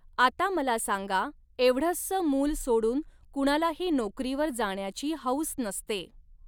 आता मला सांगा एवढस मुल सोडून कुणालाही नोकरीवर जाण्याची हौस नसते.